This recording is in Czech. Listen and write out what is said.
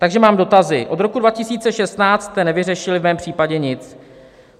Takže mám dotazy: Od roku 2016 jste nevyřešili v mém případě nic.